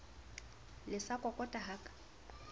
le sa kokota ha ka